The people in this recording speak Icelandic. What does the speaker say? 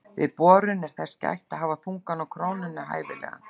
Við borun er þess gætt að hafa þungann á krónunni hæfilegan.